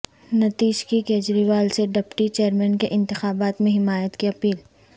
نتیش کی کجریوال سے deputy chairman کے انتخابات میں حمایت کی اپیل